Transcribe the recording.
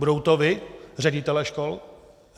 Budete to vy, ředitelé škol?